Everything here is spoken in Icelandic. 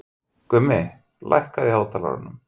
Gummi, lækkaðu í hátalaranum.